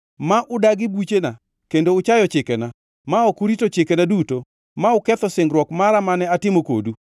ma udagi buchena kendo uchayo chikena, ma ok urito chikena duto ma uketho singruok mara mane atimo kodu,